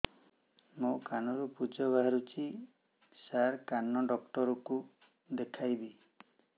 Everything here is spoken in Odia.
ମୋ କାନରୁ ପୁଜ ବାହାରୁଛି ସାର କାନ ଡକ୍ଟର କୁ ଦେଖାଇବି